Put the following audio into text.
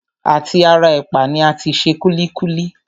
À ti ara ẹ̀pà ni a ti se kúlíkúlí